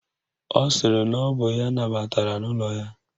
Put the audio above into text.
Ọ sịrị na ọ bụ ya nabatara n'ụlọ ya